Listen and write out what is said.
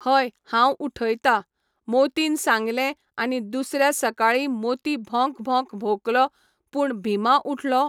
हय हांव उठयता, मोतीन सांगले आनी दुसऱ्या सकाळी मोती भोंक भोंक भोंकलो पूण भिमा उठलो?